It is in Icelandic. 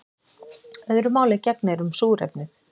Öðru máli gegnir um súrefnið.